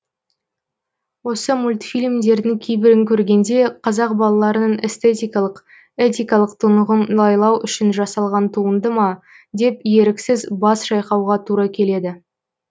осы мультфильмдердің кейбірін көргенде қазақ балаларының эстетикалық этикалық тұнығын лайлау үшін жасалған туынды ма деп еріксіз бас шайқауға тура келеді